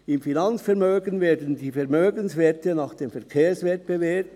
Im Finanzvermögen werden die Vermögenswerte nach dem Verkehrswert bewertet.